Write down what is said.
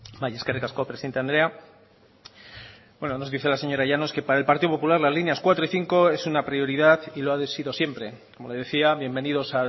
bai eskerrik asko presidente andrea nos dice la señora llanos que para el partido popular las líneas cuatro y cinco es una prioridad y lo ha sido siempre como decía bienvenidos